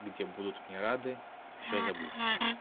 где будут мне рады и все забыть